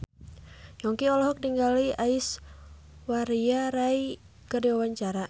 Yongki olohok ningali Aishwarya Rai keur diwawancara